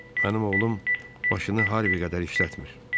Mənim oğlum başını Harvi qədər işlətmir.